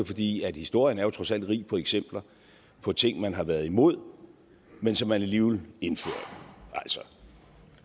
fordi historien jo trods alt er rig på eksempler på ting man har været imod men som man alligevel indfører altså